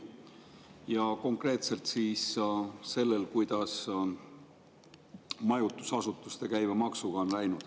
Ja konkreetselt siis sellel, kuidas majutusasutuste käibemaksuga on läinud.